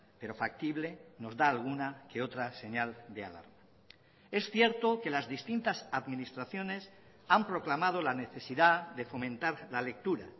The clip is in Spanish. pero factible nos da alguna que otra señal de alarma es cierto que las distintas administraciones han proclamado la necesidad de fomentar la lectura